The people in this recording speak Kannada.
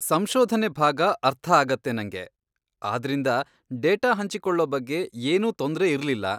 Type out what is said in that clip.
ಸಂಶೋಧನೆ ಭಾಗ ಅರ್ಥ ಆಗತ್ತೆ ನಂಗೆ, ಆದ್ರಿಂದ ಡೇಟಾ ಹಂಚಿಕೊಳ್ಳೊ ಬಗ್ಗೆ ಏನೂ ತೊಂದ್ರೆ ಇರ್ಲಿಲ್ಲ.